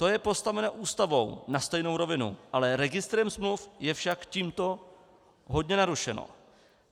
To je postavené Ústavou na stejnou rovinu, ale registrem smluv je však tímto hodně narušeno.